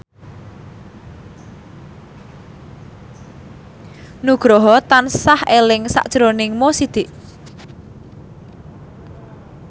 Nugroho tansah eling sakjroning Mo Sidik